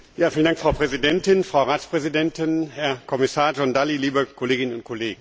Frau Präsidentin, Frau Ratspräsidentin, Herr Kommissar Dalli, liebe Kolleginnen und Kollegen!